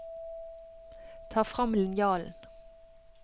Ta frem linjalen